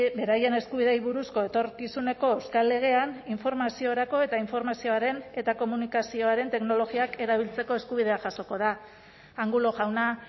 beraien eskubideei buruzko etorkizuneko euskal legean informaziorako eta informazioaren eta komunikazioaren teknologiak erabiltzeko eskubidea jasoko da angulo jauna